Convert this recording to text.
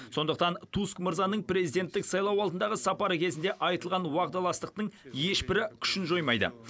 сондықтан туск мырзаның президенттік сайлау алдындағы сапары кезінде айтылған уағдаластықтың ешбірі күшін жоймайды